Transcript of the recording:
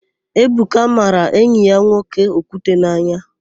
Ebuka mara enyi ya okwute n'anya.